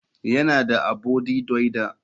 Yana da abody duilder.